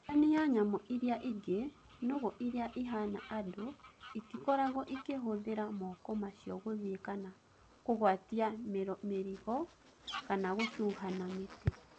Ngũrani na nyamũ iria ingĩ, nũgũ iria ihana andũ itikoragwo ikĩhũthĩra moko macio gũthii kana kũgwatia mĩrigo kana gũcuha na mĩtĩ.